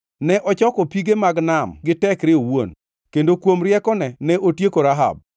Ne ochoko pige mag nam gi tekre owuon; kendo kuom riekone ne otieko Rahab.